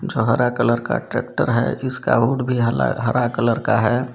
हरा कलर का ट्रेक्टर है जिसका हुड भी हला हरा कलर का है।